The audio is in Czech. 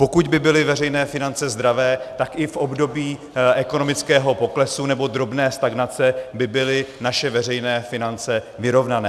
Pokud by byly veřejné finance zdravé, tak i v období ekonomického poklesu nebo drobné stagnace by byly naše veřejné finance vyrovnané.